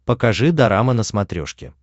покажи дорама на смотрешке